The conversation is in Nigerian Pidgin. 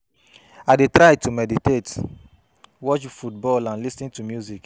I dey try to meditate, watch football and lis ten to music.